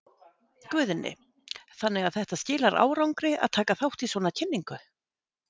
Guðni: Þannig að þetta skilar árangri að taka þátt í svona kynningu?